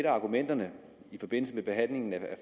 argumenterne i forbindelse med behandlingen af